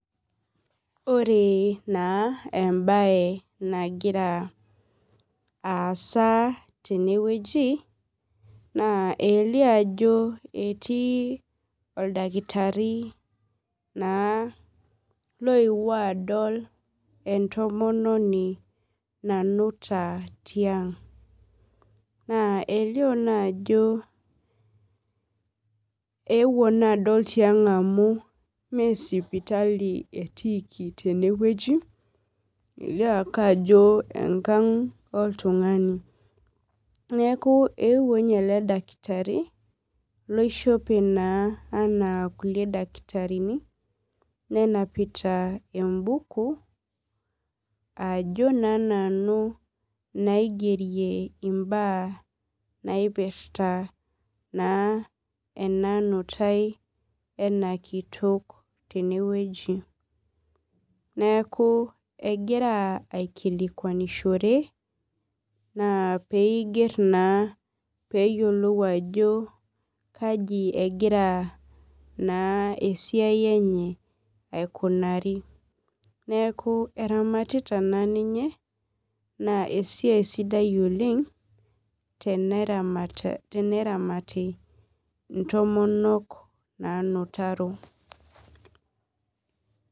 Ore na embae nagira aasa tenewueji naa elio ajo etii oldakitari oewuo adol entomononi nanuta tiang na elio na ajo euo na adol tiang amu mesipitali etiiki tenewueji elio ake ajo enkang oltungani neaku ewuo na eledakitari oishope ana rkulie dakitarini nenapita embuku ajo na nanu naigerrie mbaa naipirta ena nutae ena kitok tenewueji neaku egira aikilikwanishore peiger na peyiolou ajo kai egira esiai enye aikunari neaku eramatita taa ninye na esiai sidai oleng teneramati ntomonok naanutaro.